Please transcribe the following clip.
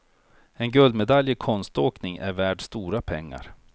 En guldmedalj i konståkning är värd stora pengar.